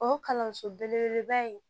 O ye kalanso belebeleba ye